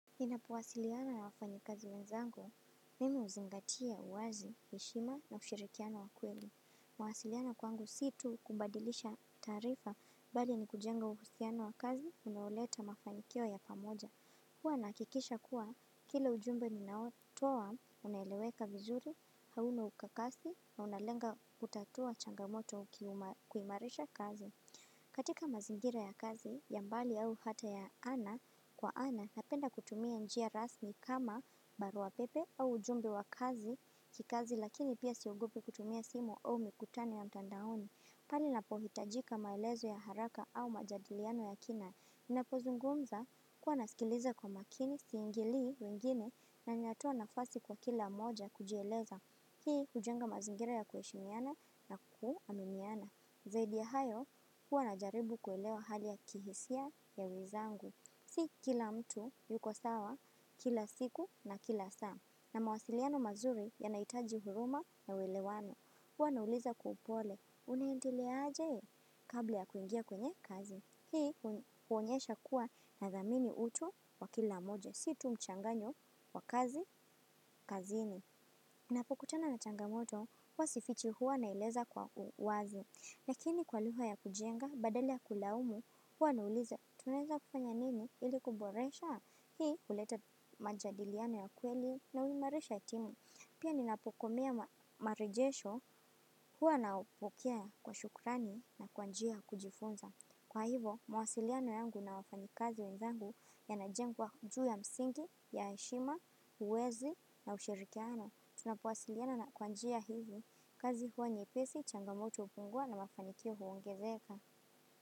Ninapowasiliana na wafanyi kazi wenzangu, mimi huzingatia uwazi, heshima na ushirikiano wa kweli. Mawasiliana kwangu si tu kubadilisha taarifa bali ni kujenga uhusiana wa kazi unaoleta mafanikio ya pamoja. Huwa nahakikisha kuwa kila ujumbe ninaotowa unaeleweka vizuri, hauna ukakasi na unalenga kutatua changamoto ukimarisha kazi. Katika mazingira ya kazi ya mbali au hata ya ana kwa ana napenda kutumia njia rasmi kama baru pepe au ujumbe wa kazi kikazi lakini pia siogopi kutumia simu au mikutano ya mtandaoni. Pale ninapo hitajika maelezo ya haraka au majadiliano ya kina. Ninapozungumza huwa nasikiliza kwa makini siingilii wengine na ninatoa nafasi kwa kila moja kujieleza. Hii hujenga mazingira ya kuheshimiana na kuaminiana. Zaidi ya hayo, huwa najaribu kuelewa hali ya kihisia ya wenzangu. Si kila mtu yuko sawa, kila siku na kila saa. Na mawasiliano mazuri yanahitaji huruma na uelewano. Hua nauliza kwa upole unaiendelea aje kabla ya kuingia kwenye kazi. Hii huonyesha kuwa na dhamini utu wa kila mmoja. Si tu mchanganyo wa kazi kazini. Napokutana na changamoto huwa sifichi huwa naeleza kwa uwazi. Lakini kwa lugha ya kujenga badala ya kulaumu, huwa na uliza tunaweza kufanya nini ili kuboresha, hii huleta majadiliano ya kweli na huimarisha timu. Pia ninapokomea marejesho huwa napokea kwa shukurani na kwa njia ya kujifunza. Kwa hivo, mawasiliano yangu na wafanyi kazi wenzangu yanajengwa juu ya msingi ya heshima, uwezi na ushirikiano. Tunapowasiliana na kwa njia hizo, kazi huwa nyepesi, changamoto hupungua na mafanikio huongezeka.